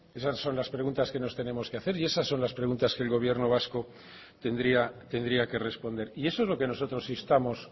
esas son las preguntas que nos tenemos que hacer y esas son las preguntas que el gobierno vasco tendría tendría que responder y eso es lo que nosotros instamos